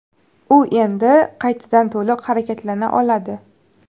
U endi qaytadan to‘liq harakatlana oladi.